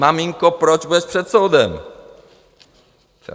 Maminko, proč budeš před soudem?